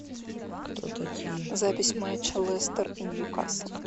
запись матча лестер и ньюкасл